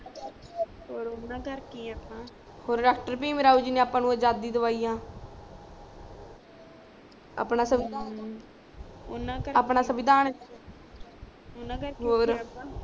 ਔਰ ਉਨ੍ਹਾਂ ਕਰਕੇ ਹੀ ਆ ਆਪਾ ਔਰ ਡਾਕਟਰ ਭੀਮ ਰਾਵ ਜੀ ਨੇ ਆਪਾ ਨੂੰ ਅਜ਼ਾਦੀ ਦਵਾਈ ਆ ਅਪਣਾ ਸਿਵਿਧਾਨ ਉਨ੍ਹਾਂ ਕਰਕੇ ਹੀ ਅਪਣਾ ਸਿਵਿਧਾਨ ਉਨ੍ਹਾਂ ਕਰਕੇ ਹੀ ਆ ਆਪਾ